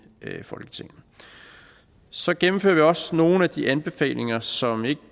folketinget så gennemfører vi også nogle af de anbefalinger som ikke